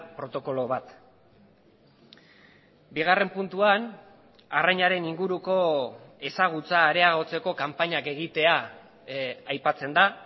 protokolo bat bigarren puntuan arrainaren inguruko ezagutza areagotzeko kanpainak egitea aipatzen da